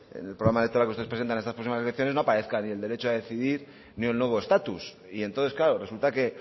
en el programa electoral que ustedes presentan en estas próximas elecciones no aparezca ni el derecho a decidir ni el nuevo estatus y entonces claro resulta que